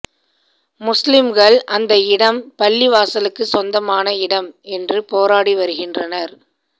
முஸ்லிம்கள் அந்த இடம் பள்ளிவாசலுக்கு சொந்தமான இடம் என்று போராடி வருகின்றனர்